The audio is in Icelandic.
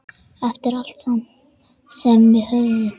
Eftir allt sem við höfum.